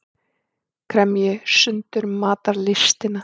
Kremji sundur matarlystina.